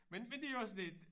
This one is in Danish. Men men det er jo også et